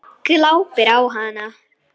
Glápir á hana.